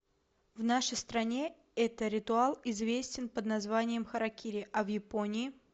в нашей стране это ритуал известен под названием харакири а в японии